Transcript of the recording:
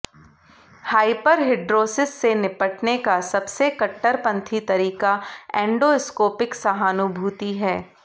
hyperhidrosis से निपटने का सबसे कट्टरपंथी तरीका एंडोस्कोपिक सहानुभूति है